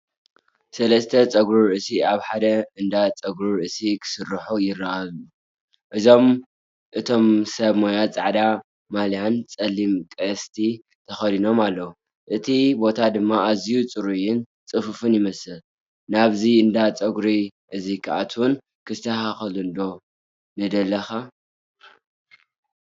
ሰለስተ ጸጉሪ ርእሲ ኣብ ሓደ እንዳ ጸጉሪ ርእሲ ክሰርሑ ይረኣዩ። ኩሎም እቶም ሰብ ሞያ ጻዕዳ ማልያን ጸሊም ቀስቲ ተኸዲኖምን እዮም፡ እቲ ቦታ ድማ ኣዝዩ ጽሩይን ጽፉፍን ይመስል። ናብዚ እንዳ ጸጉሪ እዚ ክትኣቱን ክትስተኻኸልን ዶ ንደለኻ?